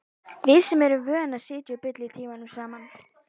Við sem erum vön að sitja og bulla tímunum saman.